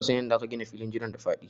Ina son yanda aka gina filin jiran da faɗi.